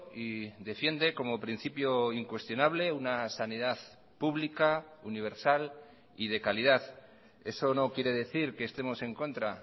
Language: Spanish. y defiende como principio incuestionable una sanidad pública universal y de calidad eso no quiere decir que estemos en contra